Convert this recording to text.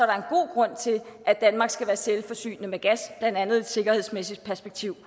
grund til at danmark skal være selvforsynende med gas blandt andet et sikkerhedsmæssigt perspektiv